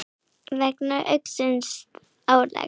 vegna aukins álags.